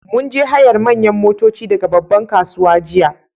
Mun je hayar manyan motoci daga babban kasuwa jiya